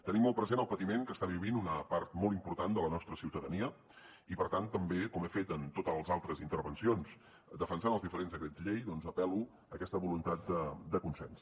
tenim molt present el patiment que està vivint una part molt important de la nostra ciutadania i per tant també com he fet en totes les altres intervencions defensant els diferents decrets llei doncs apel·lo a aquesta voluntat de consens